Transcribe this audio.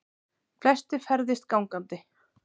Flestir ferðist gangandi